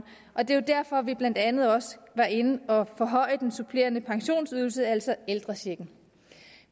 og det er jo derfor vi blandt andet også var inde og forhøje den supplerende pensionsydelse altså ældrechecken